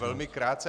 Velmi krátce.